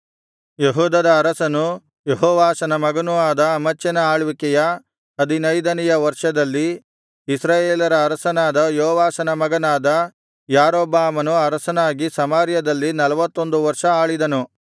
ಯೆಹೂದದ ಅರಸನೂ ಯೆಹೋವಾಷನ ಮಗನೂ ಆದ ಅಮಚ್ಯನ ಆಳ್ವಿಕೆಯ ಹದಿನೈದನೆಯ ವರ್ಷದಲ್ಲಿ ಇಸ್ರಾಯೇಲರ ಅರಸನಾದ ಯೋವಾಷನ ಮಗನಾದ ಯಾರೊಬ್ಬಾಮನು ಅರಸನಾಗಿ ಸಮಾರ್ಯದಲ್ಲಿ ನಲ್ವತ್ತೊಂದು ವರ್ಷ ಆಳಿದನು